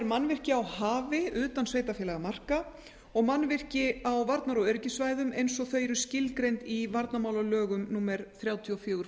mannvirki á hafi utan sveitarfélagamarka og mannvirki á varnar og öryggissvæðum eins og þau eru skilgreind í varnarmálalögum númer þrjátíu og